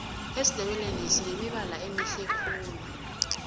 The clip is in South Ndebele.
esindebeleni sinemibala emihle khulu